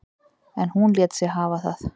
En hún lét sig hafa það.